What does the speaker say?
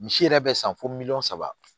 Misi yɛrɛ bɛ san fo miliyɔn saba